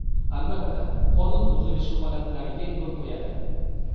Albatta, qonun buzilishi holatlariga yo‘l qo‘yadi.